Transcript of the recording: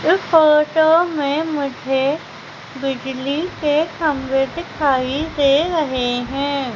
इस फोटो में मुझे बिजली के खंभे दिखाई दे रहे हैं।